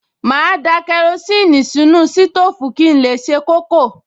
Màá da kerosíìnì sínú sítóòfù kí n lè se kókò